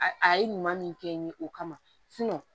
A a ye ɲuman min kɛ n ye o kama